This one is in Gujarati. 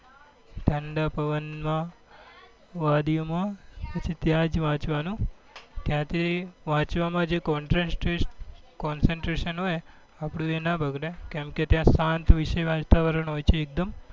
ઠંડા પવન માં વાદી ઓ માં પછી ત્યાં જ વાંચવા નું ત્યાં થી concentration હોય આપડું એ નાં બગડે કેમ કે એ શાંતવેષેય વાતાવરણ હોય છે એક દમ